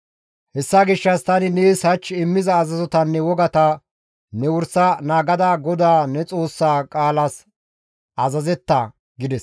Hessa gishshas tani nees hach immiza azazotanne wogata ne wursa naagada GODAA ne Xoossaa qaalas azazetta» gides.